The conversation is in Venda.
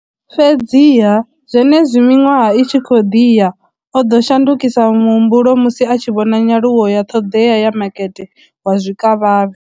Fhedziha, zwenezwi miṅwaha i tshi khou ḓi ya, o ḓo shandukisa muhumbulo musi a tshi vhona nyaluwo ya ṱhoḓea ya makete wa zwikavhavhe.